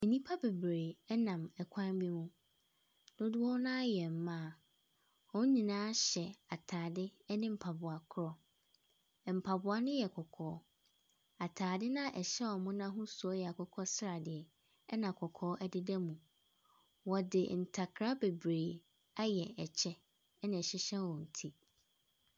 Nnipa bebree ɛnam ɛkwan bi ho. Dodoɔ naa yɛ mmaa. Wɔn nyinaa hyɛ ataade ɛne mpaboa koro. Mpaboa no yɛ kɔkɔɔ. Ataade na ɛhyɛ wɔn no ahosuo ɛyɛ akokɔsradeɛ ɛna kɔkɔɔ ɛdedam. Wɔde ntakra beberee ayɛ ɛkyɛ ɛna ɛhyehyɛ wɔn ti.